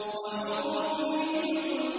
وَحُورٌ عِينٌ